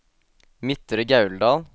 Midtre Gauldal